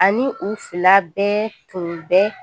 Ani u fila bɛɛ tun bɛ